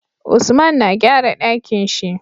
Usman na gyara Ɗakinshi